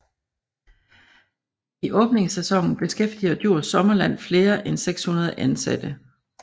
I åbningssæsonen beskæftiger Djurs Sommerland flere end 600 ansatte